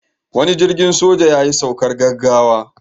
Wani jirgin soja yayi saukar gaggawa.